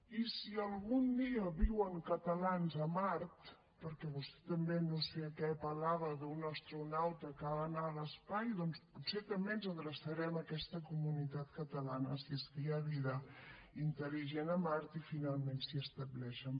i si algun dia viuen catalans a mart perquè vostè també no sé de què parlava d’un astronauta que ha d’anar a l’espai doncs potser també ens adreçarem a aquesta comunitat catalana si és que hi ha vida intel·ligent a mart i finalment s’hi estableixen